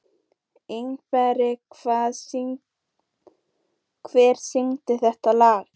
Ingberg, hver syngur þetta lag?